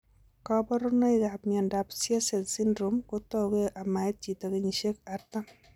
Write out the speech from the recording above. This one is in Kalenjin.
Kaborunoikap miondop Tietze syndrome kotouge amait chito kenyisiek 40